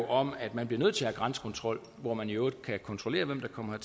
om at man bliver nødt til at grænsekontrol hvor man i øvrigt kan kontrollere hvem der kommer